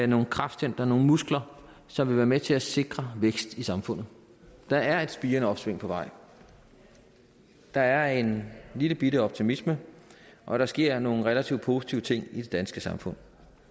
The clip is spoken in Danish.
nogle kraftcentre nogle muskler som vil være med til at sikre vækst i samfundet der er et spirende opsving på vej der er en lillebitte optimisme og der sker nogle relativt positive ting i det danske samfund